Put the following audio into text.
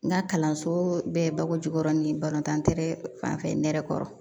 N ka kalanso bɛɛ ye bako jukɔrɔ ni balontan tɛɛrɛ fanfɛ nɛrɛ kɔrɔ